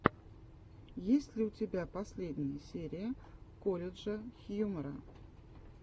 есть ли у тебя последняя серия колледжа хьюмора